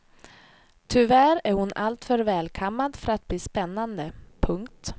Tyvärr är hon alltför välkammad för att bli spännande. punkt